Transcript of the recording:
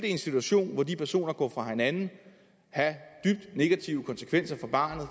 i en situation hvor de personer går fra hinanden have dybt negative konsekvenser for barnet